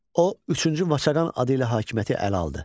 O, üçüncü Vaçaqan adı ilə hakimiyyəti ələ aldı.